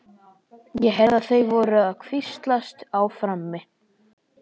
Ég heyrði að þau voru að hvíslast á frammi.